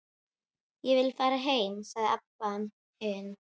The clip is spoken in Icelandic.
Ég vil fara heim, sagði Abba hin.